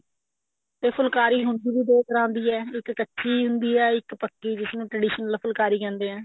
ਤੇ ਫੁਲਕਾਰੀ ਹੁਣ ਹੁੰਦੀ ਵੀ ਦੋ ਤਰ੍ਹਾਂ ਦੀ ਹੈ ਇੱਕ ਕੱਚੀ ਹੁੰਦੀ ਹੈ ਇੱਕ ਪੱਕੀ ਜਿਸ ਨੂੰ traditional ਫੁਲਕਾਰੀ ਕਹਿੰਦੇ ਐ